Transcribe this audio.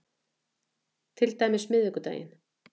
Til dæmis miðvikudaginn